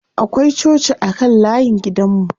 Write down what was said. Akwai coci a kan layin gidan mu.